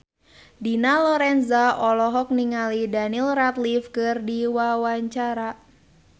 Dina Lorenza olohok ningali Daniel Radcliffe keur diwawancara